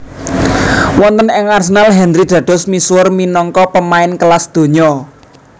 Wonten ing Arsenal Henry dados misuwur minangka pemain kelas donya